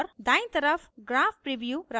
दायीं तरफ graph preview रखती है